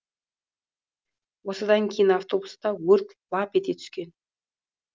осыдан кейін автобуста өрт лап ете түскен